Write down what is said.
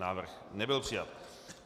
Návrh nebyl přijat.